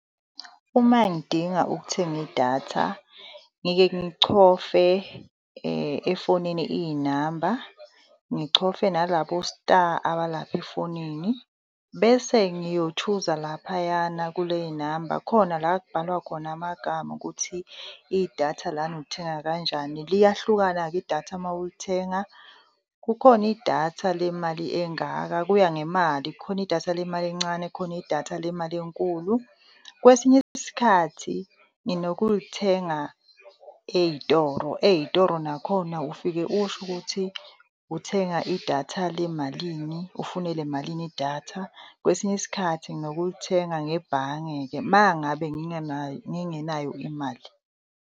Uma ngidinga ukuthenga idatha ngike ngichofe, efonini iy'namba, ngichofe nalabo star abalapha efonini bese ngiyo-chooser laphayana kule y'namba khona la kubhalwa khona amagama ukuthi idatha lana ulithenga kanjani. Liyahlukana-ke idatha mawulithenga, kukhona idatha lemali engaka, kuya ngemali. Khona idatha lemali encane, khona idatha lemali enkulu. Kwesinye isikhathi nginokulithenga ey'toro. Ey'toro nakhona ufike usho ukuthi uthenga idatha lemalini, ufuna elemalini idatha. Kwesinye isikhathi nginokulithenga ngebhange-ke mangabe ngingenayo ngingenayo imali.